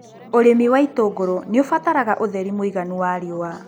ũrĩmi wa itũngũrũ nĩũbataraga ũtheri mũiganu wa riua.